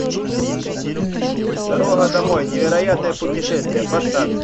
дорога домой невероятное путешествие поставь